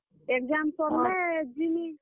Exam ସର୍ ଲେ ଯିମି।